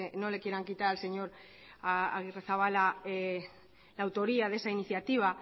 no le quieran quitar al señor agirrezabala la autoría de esa iniciativa